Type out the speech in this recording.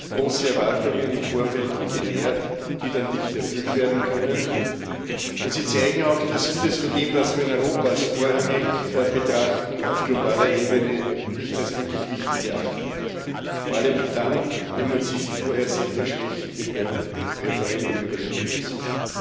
Es werden im Vorfeld große Erwartungen genährt, die dann nicht erfüllt werden können, und sie zeigen auch, dass vieles von dem, was wir in Europa als vorrangig betrachten, auf globaler Ebene nicht als wirklich wichtig erachtet wird, vor allem dann, wenn man sich vorher selber schwächt wie beim Referendum über den Brexit.